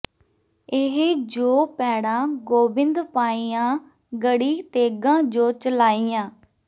ਇਹ ਜੋ ਪੈੜਾਂ ਗੋਬਿੰਦ ਪਾਈਆਂ ਗੜ੍ਹੀ ਤੇਗਾਂ ਜੋ ਚਲਾਈਆਂ